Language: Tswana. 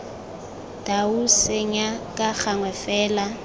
dau senya ka gangwe fela